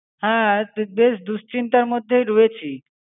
হ্যাঁ, বেশ দুশচিন্তার মধ্যেই রয়েছি।